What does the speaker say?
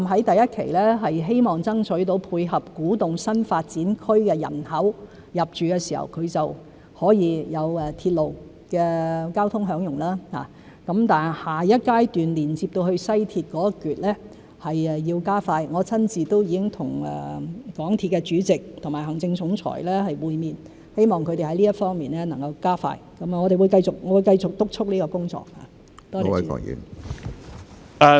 第一期的古洞站，希望爭取到配合古洞新發展區的人口在入住時可以享用鐵路交通；但下一階段連接到西鐵的一段要加快，我已親自和港鐵公司主席和行政總裁會面，希望他們能在這方面加快，我會繼續督促這項工作。